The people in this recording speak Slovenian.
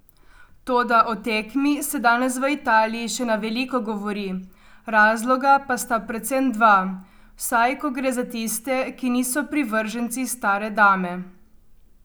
Toda o tekmi se danes v Italiji še na veliko govori, razloga pa sta predvsem dva, vsaj ko gre za tiste, ki niso privrženci stare dame.